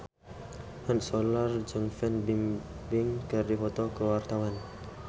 Mat Solar jeung Fan Bingbing keur dipoto ku wartawan